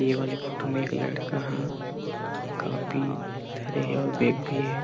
ये वाले फोटो में एक लड़का हा कापी धरे हे अऊर बेग भी हे ।